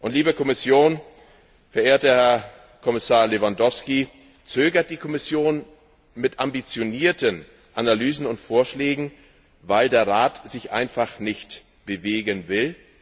Liebe Kommission, verehrter Kommissar Lewandowski, zögert die Kommission mit ambitionierten Analysen und Vorschlägen, weil der Rat sich einfach nicht bewegen will?